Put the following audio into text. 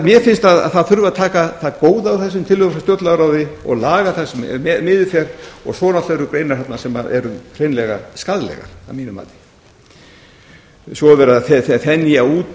mér finnst að það þurfi að taka það góða úr þessum tillögum frá stjórnlagaráði og laga það sem miður fer og svo eru greinar þarna sem eru hreinlega skaðlegar að mínu mati svo er verið að þenja út